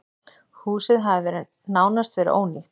Húsið hafi nánast verið ónýtt.